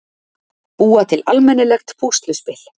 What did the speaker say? Búa til almennilegt púsluspil.